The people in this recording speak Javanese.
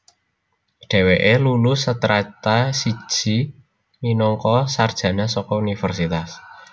Dhèwèké lulu Strata siji minangka sarjana saka Universitas